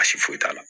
Baasi foyi t'a la